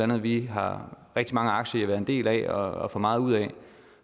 noget vi har rigtig mange aktier i at være en del af og får meget ud af